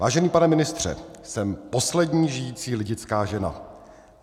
"Vážený pane ministře, jsem poslední žijící lidická žena.